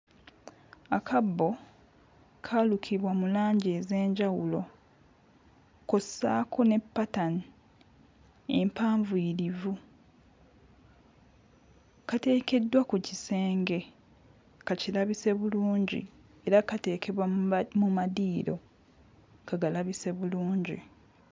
Akabbo kaalukibwa mu langi ez'enjawulo kw'ossaako ne ppatani empanvuyirivu kateekeddwa ku kisenge kakirabise bulungi era kateekebwa mu ma mu madiiro kagalabise bulungi.